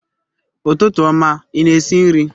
Ụtụtụ ọma, ị na-esi nri?